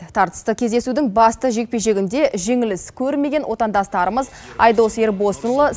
тартысты кездесудің басты жекпе жегінде жеңіліс көрмеген отандастарымыз айдос ербосынұлы